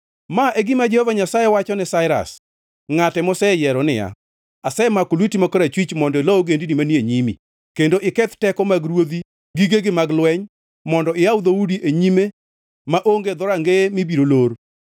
Ma e gima Jehova Nyasaye wachone Sairas, ngʼate moseyiero niya, “Asemako lweti ma korachwich, mondo ilo ogendini manie nyimi, kendo iketh teko mag ruodhi gigegi mag lweny, mondo iyaw dhoudi e nyime maonge dhorangeye mibiro lor.